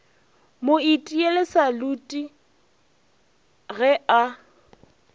mo itiele salute ge a